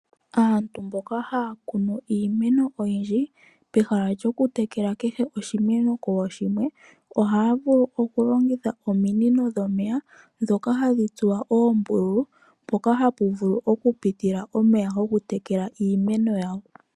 Aantu mboka haya kunu iimeno oyindji, pehala lyoku tekela kehe oshimeno kooshimwe, ohaya vulu okulongitha ominino dhomeya dhoka hadhi tsuwa oombululu mpoka hapu vulu okupitila omeya gokutekela iimeno yawo.